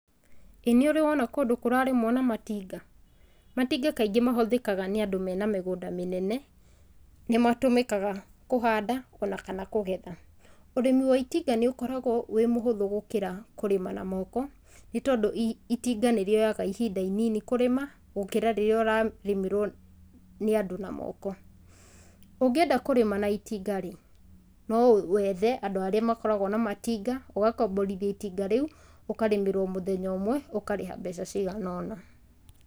ĩ nĩũrĩwona kũndũ kũrarĩmwo na matinga? Matinga kaingĩ mahũthĩkaga nĩ andũ mena mĩgũnda mĩnene, nĩ matũmĩkaga kũhanda ona kana kũgetha. Ũrĩmi wa itinga nĩ ũkoragwo ũrĩ mũhũthũ gũkĩra kũrĩma na moko nĩ tondũ itinga nĩ rĩoyaga ihinda inini kũrĩma gũkĩra rĩrĩa ũrarĩmĩrwo nĩ andũ na moko. Ũngĩenda kũrĩma na itinga rĩ, no wethe andũ arĩa makoragwo na matinga, ũgakomborithio itinga rĩu ũkarĩmĩrwo mũthenya ũmwe ũkarĩha mbeca ciigana ũna.